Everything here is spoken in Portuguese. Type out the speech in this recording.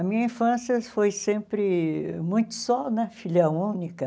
A minha infância foi sempre muito só né, filha única.